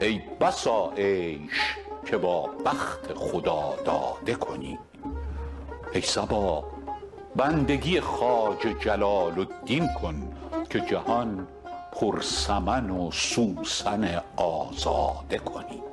ای بسا عیش که با بخت خداداده کنی ای صبا بندگی خواجه جلال الدین کن که جهان پر سمن و سوسن آزاده کنی